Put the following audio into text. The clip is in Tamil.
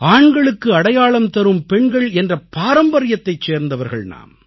ஆண்களுக்கு அடையாளம் தரும் பெண்கள் என்ற பாரம்பரியத்தைச் சேர்ந்தவர்கள் நாம்